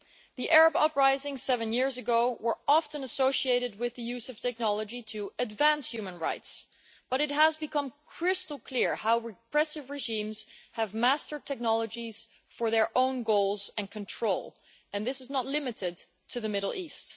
The Arab uprisings seven years ago were often associated with the use of technology to advance human rights, but it has become crystal clear how repressive regimes have mastered technologies for their own goals and control, and this is not limited to the Middle East.